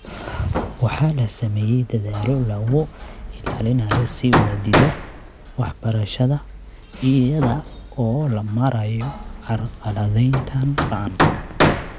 Waxaa la sameeyay dadaallo lagu ilaalinayo sii wadida waxbarashada iyada oo loo marayo carqaladayntan ba'an.